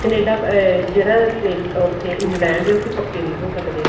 Canada ਅਮ ਜਿਹੜਾ Australia ਉੱਥੇ England ਉਥੇ ਪੱਕੇ ਨੀ ਹੋ ਸਕਦੇ